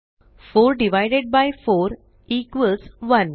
4 divided by 4 1